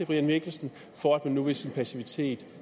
brian mikkelsen for at man nu ved sin passivitet